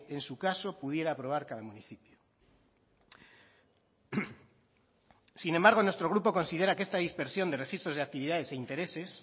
en su caso pudiera aprobar cada municipio sin embargo nuestro grupo considera que esta dispersión de registros de actividades e intereses